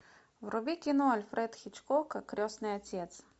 вруби кино альфред хичкока крестный отец